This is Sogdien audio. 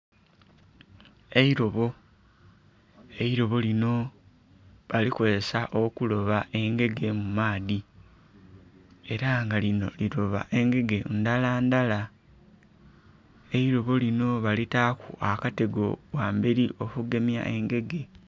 Eirobo, eirobo lino bali kozesa okuloba engege mu maadhi era nga lino liroba engege ndhala ndhala. Eirobo lino balitaku akatego ghamberi okugemya engege.